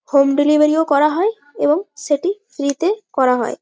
Home delivery -ও করা হয় এবং সেই টি ফ্রী -তে করা হয়।